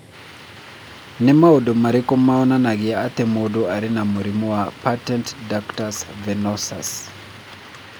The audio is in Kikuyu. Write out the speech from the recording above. Nĩ maũndũ marĩkũ monanagia atĩ mũndũ arĩ na mũrimũ wa Patent ductus venosus?